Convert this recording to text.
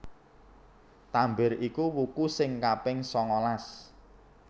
Tambir iku wuku sing kaping sangalas